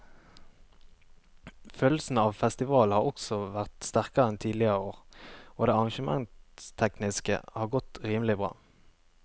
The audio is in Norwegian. Følelsen av festival har også vært sterkere enn tidligere år og det arrangementstekniske har godt rimelig bra.